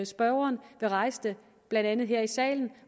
spørgeren vil rejse den blandt andet her i salen